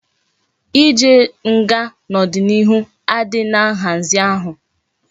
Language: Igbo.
I jee nga na odi na ihu adighi na nhazi ahu